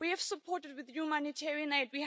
We have supported with humanitarian aid.